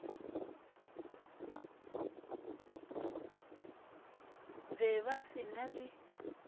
be ba se na le